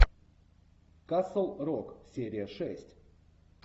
касл рок серия шесть